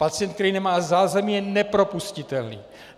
Pacient, který nemá zázemí, je nepropustitelný.